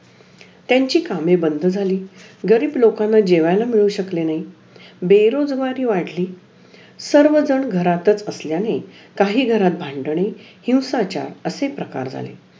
कि freeship मिळाली आणि मंग class मी अकरावीला तिथं class join केला लातूर ला तिथं पण चांगला अभ्यास केला मंग